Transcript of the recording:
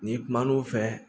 N'i kum'o fɛ